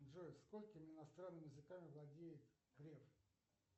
джой сколькими иностранными языками владеет греф